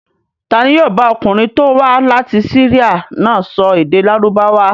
Ta ni yóò bá ọkùnrin tó wá láti Syria náà sọ èdè Lárúbáwá?